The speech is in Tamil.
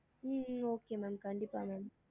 ஹம் ஹம் okay ma'am கண்டிப்பா ma'am